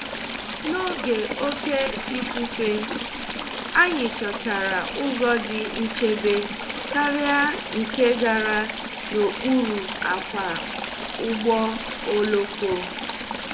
N’oge òke ifufe, anyị chọtara ụzọ dị nchebe karị nke gara n'okpuru akwa ụgbọ oloko.